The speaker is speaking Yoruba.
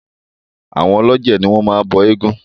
Àwọn ọlọ́jẹ̀ ní o máa ń bọ eégún.